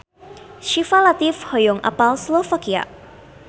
Syifa Latief hoyong apal Slovakia